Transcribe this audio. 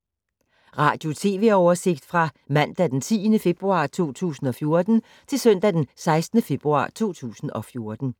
Radio/TV oversigt fra mandag d. 10. februar 2014 til søndag d. 16. februar 2014